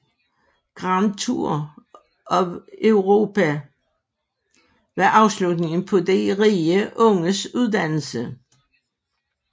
Grand Tour of Europe var afslutningen på de rige unges uddannelse